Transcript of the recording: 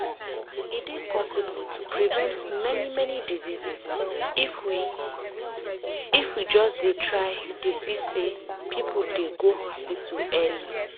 e dey possible to prevent many many diseases if we if we just dey try dey see say people dey go hospital early.